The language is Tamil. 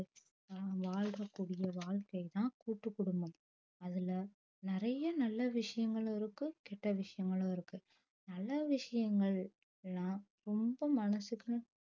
வாழ்ற கூடிய வாழ்க்கை தான் கூட்டு குடும்பம் அதுல நெறைய நல்ல விஷயங்களும் இருக்கு கெட்ட விஷயங்களும் இருக்கு நல்ல விஷயங்கள் எல்லாம் ரொம்ப மனசுக்கு